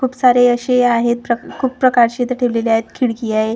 खूप सारे अशे आहेत प्र खूप प्रकारचे इथं ठेवलेले आहेत खिडकी आहे.